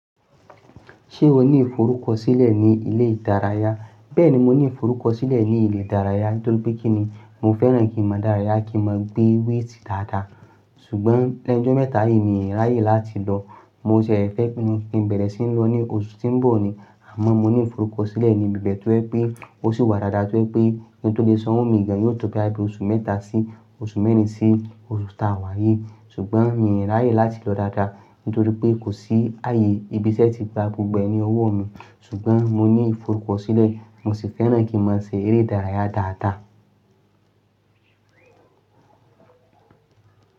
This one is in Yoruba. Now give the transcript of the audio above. Ṣé o ní ìforúkọ sílẹ̀ ní ilé ìdárayá? Bẹ́ẹ̀ni, mo ní ìforúkọ sílẹ̀ ní ilé ìdárayá nítorí pé kíni, mo fẹ́ràn kí mọ dárayá, kí mọ gbé wéétì dáadáa. Ṣùgbọ́n lẹ́ nú jọ́ mẹ́ta yìí, mi ò ráyè láti lọ. Mo ṣẹ̀ fẹ́ kí n bẹ̀rẹ̀ sí ní lọ ní oṣù tí ń bọ̀ ni, àmọ́ mo ní ìforúkọ sílẹ̀ ní ibi bee tó yẹ̀ pé ó sì wà dáadáa tó yẹ̀ pé kin tó lè sanwó mìí gán yóò tó bóyá bí oṣù mẹ́ta sí oṣù mẹ́rin sí oṣù tí a wà yìí. Ṣùgbọ́n mi ò ráyè láti lọ dáadáa nítorí pé kò sí ààyè. Ibi ṣẹ́ ti gba gbogbo ẹ ni ọwọ́ mi, ṣùgbọ́n mo ní ìforúkọ sílẹ̀. Mo sì fẹ́ràn kí ń máa ṣe eré ìdárayá dáadáa.